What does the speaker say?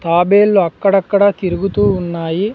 తాబేల్లు అక్కడక్కడ తిరుగుతూ ఉన్నాయి.